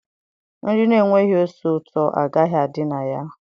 Nri na-enweghị ose ụtọ agaghị adị na ya.